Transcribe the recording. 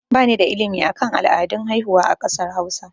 Ba ni da ilimi akan al'adun haihuwa a kasar hausa